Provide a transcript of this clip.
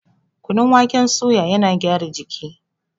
Kunun waken suya yana gyara jiki